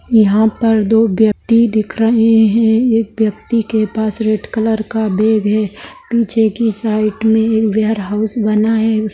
यहाँ पर दो व्यक्ति दिख रहे है एक व्यक्ति के पास रेड कलर का बैग है पीछे की साइड में एक वेयरहाउस बना है उस --